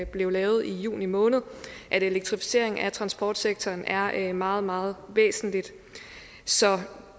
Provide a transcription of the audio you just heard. blev lavet i juni måned at elektrificeringen af transportsektoren er meget meget væsentlig så